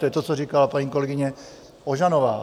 To je to, co říkala paní kolegyně Ožanová.